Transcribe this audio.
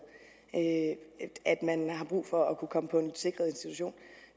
at man har brug for at kunne komme på en sikret institution